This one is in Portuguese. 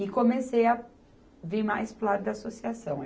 E comecei a vir mais para o lado da associação.